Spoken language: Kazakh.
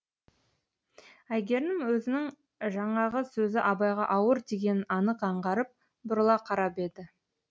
әйгерім өзінің жаңағы сөзі абайға ауыр тигенін анық аңғарып бұрыла қарап еді